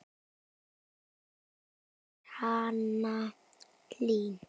Þín dóttir, Hanna Hlín.